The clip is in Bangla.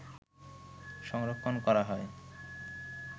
সংরক্ষণ করা হয়